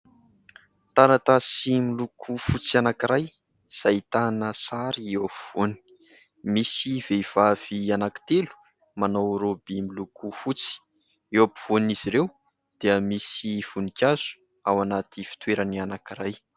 Taratasy miloko fotsy anankiray izay ahitana sary eo afovoany, misy vehivavy anankitelo manao raoby miloko fotsy, eo ampovoan'izy ireo dia misy voninkazo ao anaty fitoerany anankiray.